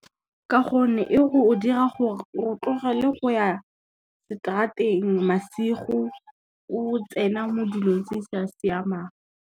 Ka gonne e go dira gore o tlogele go ya, seterateng masigo o tsena mo dilong tse di sa siamang.